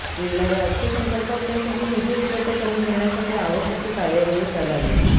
येणाऱ्या अर्थसंकल्पात त्यासाठी निधी उपलब्ध करून देण्यासाठी आवश्क ती कार्यवाही करावी